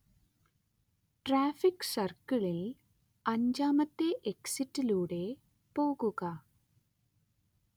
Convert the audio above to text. traffic സർക്കിളിൽ അഞ്ചാമത്തെ എക്സിറ്റിലൂടെ പോകുക